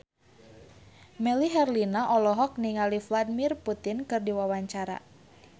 Melly Herlina olohok ningali Vladimir Putin keur diwawancara